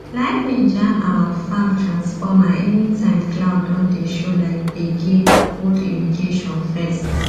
lightning jam our farm transformeranytime cloud don dey show like gbege hold irrigation first